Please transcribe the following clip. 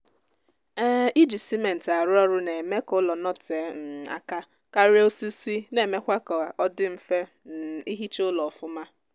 um iji simentị arụ ụlọ na-eme ka ụlọ notee um aka karịa osisi na-emekwa kaọdị mfe um ihicha ụlọ ọfụma